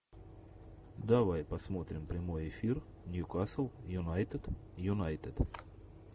давай посмотрим прямой эфир ньюкасл юнайтед юнайтед